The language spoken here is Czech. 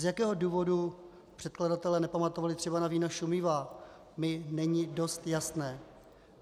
Z jakého důvodu předkladatelé nepamatovali třeba na vína šumivá, mi není dost jasné.